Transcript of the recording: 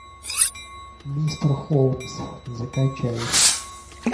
мистер холмс закачай